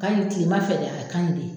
Hali ni tigi ma fɛdɛ a kan ye di.